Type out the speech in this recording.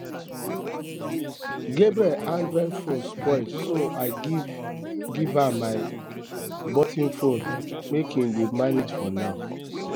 gabriel android phone spoil so i so i give um am um my button phone make um im dey manage for now